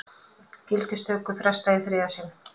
Gildistöku frestað í þriðja sinn